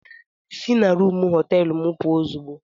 Sị na rumụ họteelu m puo ozugbo!